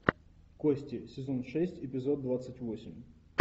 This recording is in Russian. кости сезон шесть эпизод двадцать восемь